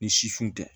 Ni sifun tɛ